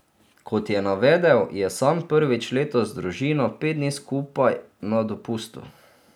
Kot je navedel, je sam prvič letos z družino pet dni skupaj na dopustu.